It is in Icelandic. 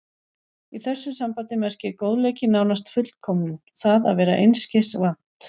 Í þessu sambandi merkir góðleiki nánast fullkomnun, það að vera einskis vant.